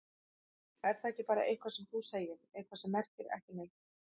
Er það ekki bara eitthvað sem þú segir, eitthvað sem merkir ekki neitt?